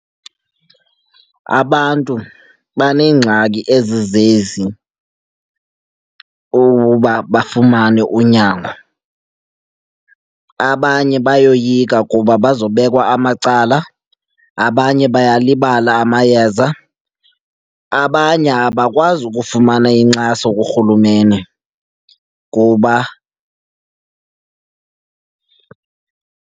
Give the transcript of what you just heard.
Abantu baneengxaki ezizezi ukuba bafumane unyango. Abanye bayoyika kuba bazobekwa amacala, abanye bayalibala amayeza, abanye abakwazi ukufumana inkxaso kuRhulumeni kuba.